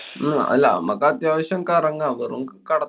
ഉം അല്ല നമ്മക്കത്യാവശ്യം കറങ്ങാം. വെറും കെട